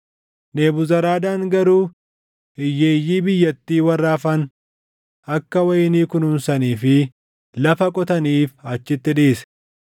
Nebuzaradaan garuu hiyyeeyyii biyyattii warra hafan akka wayinii kunuunsanii fi lafa qotaniif achitti dhiise.